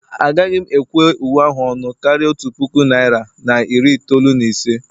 Agaghị m ekwe uwe ahụ ọnụ karịa otu puku naira na iri itoolu na ise